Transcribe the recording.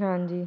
ਹਾਂਜੀ